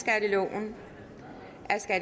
der